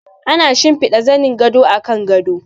Ana shimfida zanin gado a kan gado.